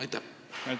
Aitäh!